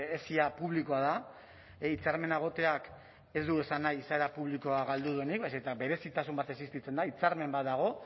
esia publikoa da hitzarmena egoteak ez du esan nahi izaera publikoa galdu duenik baizik eta berezitasun bat existitzen da hitzarmen bat dago